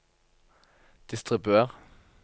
distribuer